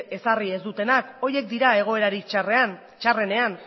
ezarri ez dutenak horiek dira egoerarik txarrenean